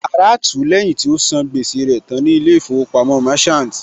Ara tú ú lẹ́yìn tí ó sàn gbẹ́sẹ̀ rẹ̀ tán ní ilé ìfowópamọ́ Merchant